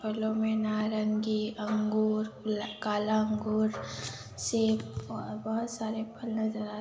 फलों मे नारंगी अंगू ल काला अंगूर सेब ओर बहोत सारे फलों नजर आ--